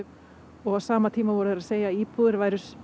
og á sama tíma voru þeir að segja að íbúðirnar yrðu